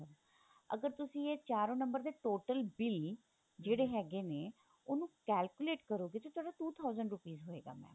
ਅਗਰ ਤੁਸੀਂ ਇਹ ਚਾਰੋ ਨੰਬਰ ਦੇ total bill ਜਿਹੜੇ ਹੈਗੇ ਨੇ ਉਹਨੂੰ calculate ਕਰੋਗੇ ਤੇ ਤੁਹਾਡਾ two thousand rupees ਹੋਏਗਾ mam